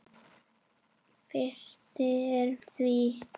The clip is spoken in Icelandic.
Fjarri fer því.